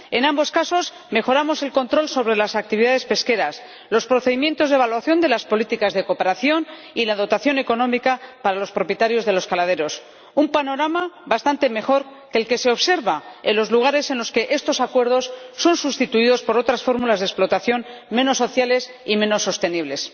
En ambos casos, mejoramos el control sobre las actividades pesqueras, los procedimientos de evaluación de las políticas de cooperación y la dotación económica para los propietarios de los caladeros un panorama bastante mejor que el que se observa en los lugares en los que estos acuerdos son sustituidos por otras fórmulas de explotación menos sociales y menos sostenibles.